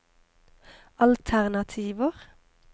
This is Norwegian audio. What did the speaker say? alternativer